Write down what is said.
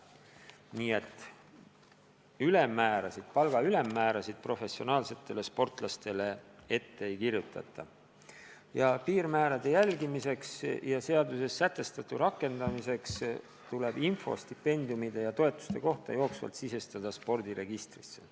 Nii et palga ülemmäära professionaalsetele sportlastele ette ei kirjutata ja piirmäärade järgimiseks ja seaduses sätestatu rakendamiseks tuleb info stipendiumide ja toetuste kohta jooksvalt sisestada spordiregistrisse.